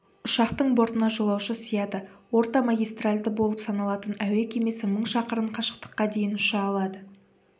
ұшақтың бортына жолаушы сияды ортамагистральды болып саналатын әуе кемесі мың шақырым қашықтыққа дейін ұша алады